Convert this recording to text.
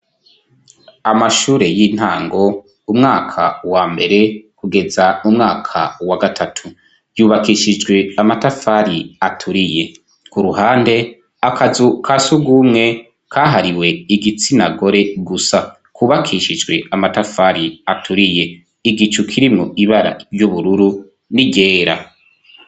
Amashure y'intango umwaka wa mbere kugeza mu mwaka wa gatatu, yubakishijwe amatafari aturiye ku ruhande akazu ka sugumwe kahariwe igitsinagore gusa kubakishijwe amatafari aturiye, igicu kirimwo ibara ry'ubururu n'iryera.